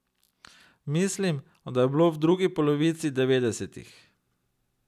Mislim, da je bilo v drugi polovici devetdesetih.